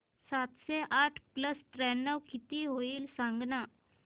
सातशे आठ प्लस त्र्याण्णव किती होईल सांगना